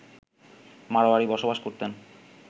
মাড়োয়ারি বসবাস করতেন